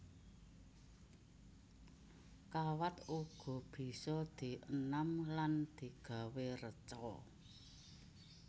Kawat uga bisa dienam lan digawé reca